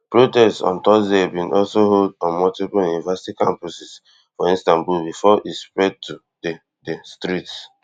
protests on thursday bin also hold on multiple university campuses for istanbul bifor e spread to di di streets